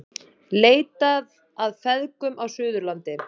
Leitað að feðgum á Suðurlandi